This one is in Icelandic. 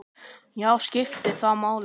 Já, skiptir það máli?